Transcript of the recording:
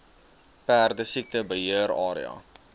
perdesiekte beheer area